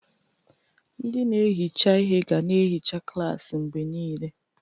Ndị na-ehicha ihe ga na-ehicha klaasị mgbe niile.